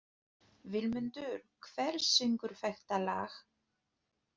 Vilmundur, hver syngur þetta lag?